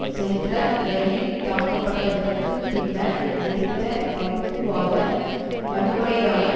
சென்ற இரயில் தாக்கப்பட்டதற்குப் பின்னர் வெடித்த வகுப்புவாத வன்முறைதான